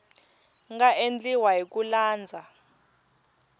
nga endliwa hi ku landza